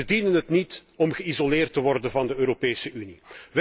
Ze verdienen het niet om geïsoleerd te worden van de Europese Unie.